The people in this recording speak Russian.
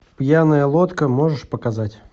пьяная лодка можешь показать